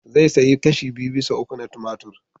Zai sayi kashi biyu bisa uku na tumatur.